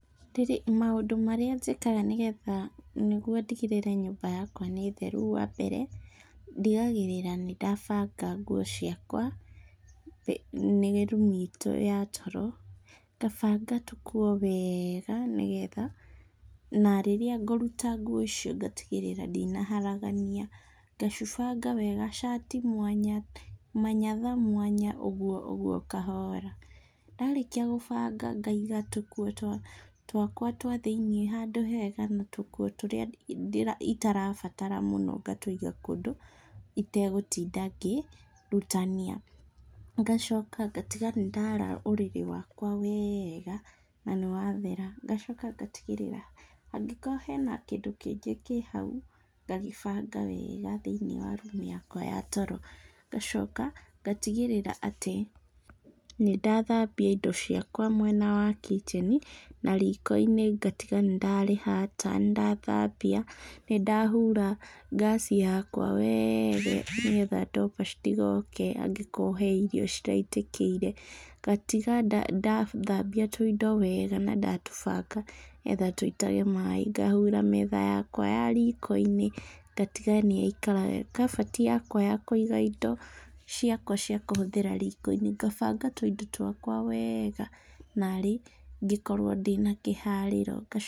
Maũndũ marĩa njĩkaga nĩgetha nĩguo ndigĩrĩre nyũmba yakwa nĩ theru, wambere ndigagĩrĩra nĩndabaga nguo ciakwa nĩ room itũ ya toro, ngabanga tũkuo weega nĩgetha, na rĩrĩa ngũruta nguo icio ngatigĩrĩra ndinaharagania, ngacibanga wega shirt i mwanya, manyatha mwanya ũguo ũguo kahoora. Ndarĩkia gũbanga ngaiga tũkuo twakwa twa thĩiniĩ handũ hega na tũkuo tũrĩa itarabatara mũno ngatũiga kũndũ itegũtinda ngĩrutania. Ngacoka ngatiga nĩndara ũrĩrĩ wakwa weega na nĩwathera. Ngacoka ngatigĩrĩra, angĩkorwo hena kĩndũ kĩngĩ kĩ hau, ngagĩbanga wega thĩiniĩ wa room yakwa ya toro. Ngacoka ngatigĩrĩra atĩ nĩndathambia indo ciakwa mwena wa kitchen i na riko-inĩ ngatiga nĩndarĩhata, nĩndathambia, nĩndahura ngaci yakwa weega nĩgetha ndomaba citigoke hangĩkorwo he irio ciraitĩkĩire, ngatiga ndathambia tũindo weega na ndatũbanga nĩgetha tũitage maĩ. Ngahura metha yakwa ya riko-inĩ ngatiga nĩyaikara wega. Kabati yakwa ya kũiga indo ciakwa cia kũhũthĩra riko-inĩ , ngabanga tũindo twakwa wega narĩ ngĩkorwo ndĩna kĩharĩro.